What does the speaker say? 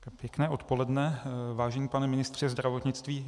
Pěkné odpoledne, vážený pane ministře zdravotnictví.